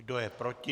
Kdo je proti?